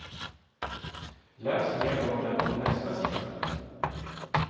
Läs mer om den på nästa sida.